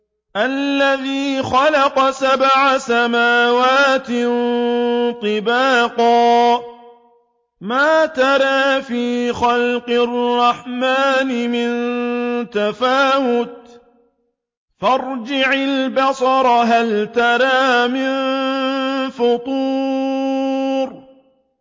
الَّذِي خَلَقَ سَبْعَ سَمَاوَاتٍ طِبَاقًا ۖ مَّا تَرَىٰ فِي خَلْقِ الرَّحْمَٰنِ مِن تَفَاوُتٍ ۖ فَارْجِعِ الْبَصَرَ هَلْ تَرَىٰ مِن فُطُورٍ